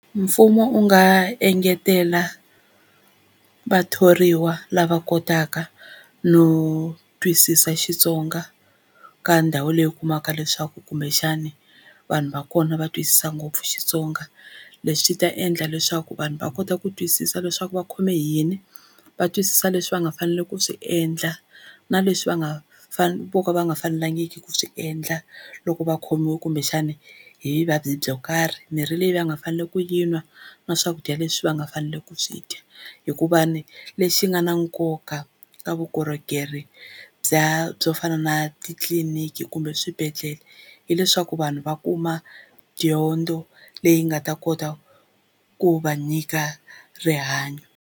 Mfumo wu nga engetela vathoriwa lava kotaka no twisisa Xitsonga ka ndhawu leyi u kumaka leswaku kumbexani, vanhu va kona va twisisa ngopfu Xitsonga. Leswi swi ta endla leswaku vanhu va kota ku twisisa leswaku va khome hi yini, va twisisa leswi va nga faneleke ku swi endla na leswi va nga vo ka va nga fanelangiki ku swi endla loko va khomiwe kumbexana hi vuvabyi byo karhi, mirhi leyi va nga faneleke ku yi nwa na swakudya leswi va nga faneleke ku swi dya hikuva ni lexi nga na nkoka ka vukorhokeri bya byo fana na titliliniki kumbe eswibedhlele, hileswaku vanhu va kuma dyondzo leyi nga ta kota ku va nyika rihanyo.